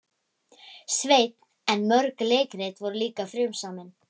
Sveinn en mörg leikrit voru líka frumsamin.